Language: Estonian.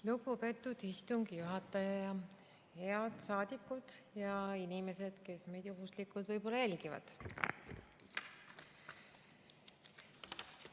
Lugupeetud istungi juhataja ja head saadikud ning inimesed, kes meid juhuslikult võib-olla jälgivad!